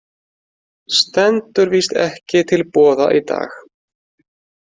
Stendur víst ekki til boða í dag.